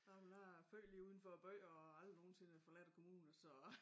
Nej men jeg født lige uden for æ by og har aldrig nogensinde forladt kommunen så